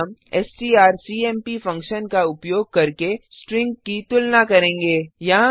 इसमें हम STRCMP function का उपयोग करके स्ट्रिंग की तुलना करेंगे